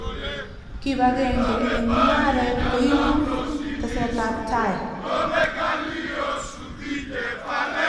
Kipakenge eng mungaret koibu tesetabtai